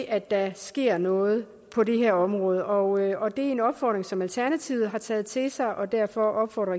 at der sker noget på det her område og det er en opfordring som alternativet har taget til sig og derfor opfordrer